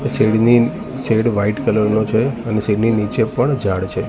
Shade ની shed white colour નો છે શેડ ની નીચે પણ ઝાડ છે.